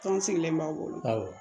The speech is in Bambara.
Anw sigilen b'a wolo